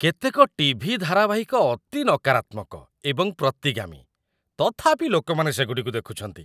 କେତେକ ଟି.ଭି. ଧାରାବାହିକ ଅତି ନକାରାତ୍ମକ ଏବଂ ପ୍ରତିଗାମୀ, ତଥାପି ଲୋକମାନେ ସେଗୁଡ଼ିକୁ ଦେଖୁଛନ୍ତି।